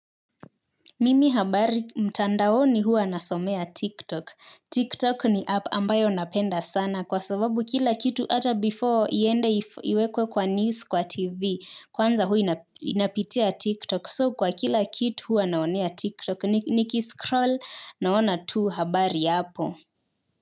Mimi habari mtandaoni huwa nasomea. TikTok. TikTok ni app ambayo napenda sana kwa sababu kila kitu ata before iende iwekwe kwa news kwa TV. Kwanza huwa inapitia. TikTok. So kwa kila kitu huwa naonea TikTok nikiskroll naona tu habari hapo.